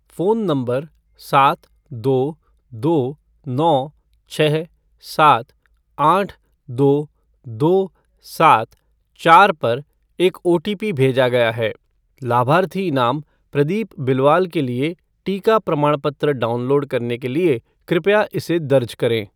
Phone number सात दो दो नौ छःसात आठ दो दो सात चार पर एक ओटीपी भेजा गया है। लाभार्थी नाम प्रदीप बिलवाल के लिए टीका प्रमाणपत्र डाउनलोड करने के लिए कृपया इसे दर्ज करें।